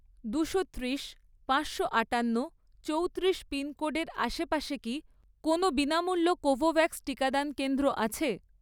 দুশো ত্রিশ, পাঁচশো আঠান্ন চৌত্রিশ পিনকোডের আশেপাশে কি কোনও বিনামূল্য কোভোভ্যাক্স টিকাদান কেন্দ্র আছে?